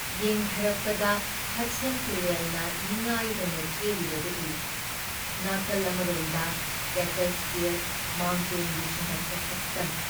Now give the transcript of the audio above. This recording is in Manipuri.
ꯌꯦꯡꯊꯔꯛꯄꯗ ꯍꯗꯁꯟ ꯇꯨꯔꯦꯜꯅ ꯅꯤꯡꯉꯥꯏꯗꯅ ꯆꯦꯜꯂꯤꯕꯗꯨ ꯎꯏ , ꯅꯥꯀꯜ ꯑꯃꯔꯣꯝꯗ ꯀꯦꯇꯁꯀꯤꯜ ꯃꯥꯎꯟꯇꯦꯟꯒꯤ ꯁꯨꯝꯍꯠꯄ ꯁꯛꯇꯝ ꯫